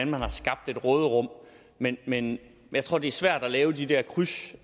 man har skabt et råderum men men jeg tror det er svært at lave de der kryds